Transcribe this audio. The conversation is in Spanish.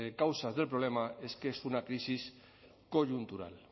causas del problema es que es una crisis coyuntural